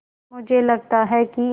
मुझे लगता है कि